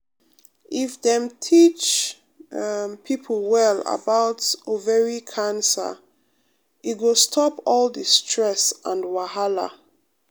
if dem teach um pipo well about ovary cancer e go stop all the stress and wahala.